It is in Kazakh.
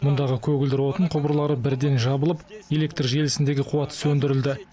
мұндағы көгілдір отын құбырлары бірден жабылып электр желісіндегі қуат сөндірілді